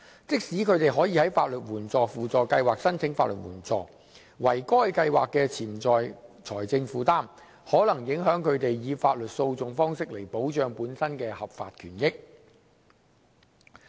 即使他們可以在法律援助輔助計劃申請法律援助，惟該計劃的潛在財政負擔，可能影響他們以法律訴訟方式來保障本身的合法權益。